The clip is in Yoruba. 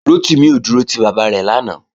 Rotimi ò dúró ti bàbá rẹ̀ lánàá